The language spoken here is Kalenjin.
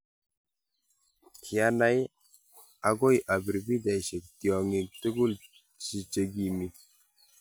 Kiyanai akoi apir pikchaishek tiongik tukul che kimii